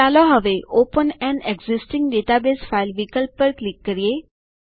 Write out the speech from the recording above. ચાલો હવે open an existing database file વિકલ્પ પર ક્લિક કરીએ